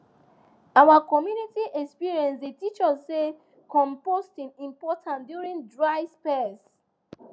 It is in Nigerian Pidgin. our community experience dey teach us say composting important during dry spells